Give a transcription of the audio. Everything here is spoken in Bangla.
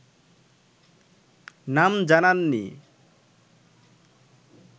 নাম জানাননি